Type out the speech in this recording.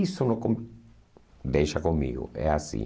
Isso não com... Deixa comigo, é assim.